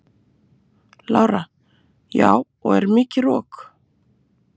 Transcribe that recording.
Lára: Já og er mikið rok?